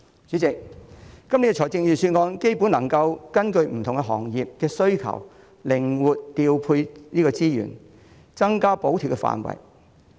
主席，今年的預算案基本上能夠根據不同行業的需求靈活調配資源，增加補貼範圍。